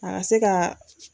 A ka se ka.